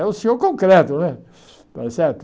É o senhor concreto, né? Está certo